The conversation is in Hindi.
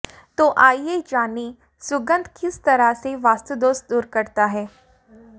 तो आइए जानें सुगंध किस तरह से वास्तु दोष दूर करता है